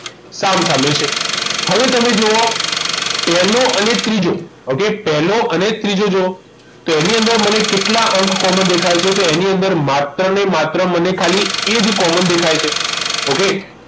સામસામે છે હવે તમે જુઓ પહેલો અને ત્રીજો okay પહેલો અને ત્રીજો જુઓ તો એની અંદર મને કેટલા અંક common દેખાય છે તો એની અંદર માત્ર ને માત્ર મને ખાલી એ જ common દેખાય છે ઓકે